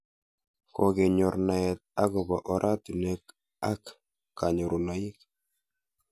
Kokenyor naet akopo oratinwek ak kanyorunoik